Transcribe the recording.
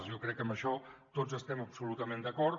jo crec que amb això tots hi estem absolutament d’acord